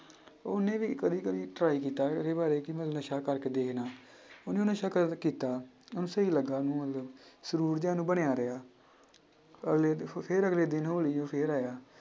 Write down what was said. ਉਹਨੇ ਵੀ ਕਦੇ ਕਦੇ try ਕੀਤਾ ਇਹਦੇ ਬਾਰੇ ਕਿ ਮੈਂ ਨਸ਼ਾ ਕਰਕੇ ਦੇਖਦਾਂ ਉਹਨੇ ਉਹ ਨਸ਼ਾ ਕਰ~ ਕੀਤਾ ਉਹਨੂੰ ਸਹੀ ਲੱਗਾ ਉਹਨੂੰ ਮਤਲਬ ਸਰੂਰ ਜਿਹਾ ਉਹਨੂੰ ਬਣਿਆ ਰਿਹਾ, ਅਗਲੇ ਦਿ~ ਫਿਰ ਅਗਲੇ ਦਿਨ ਉਹ ਫਿਰ ਆਇਆ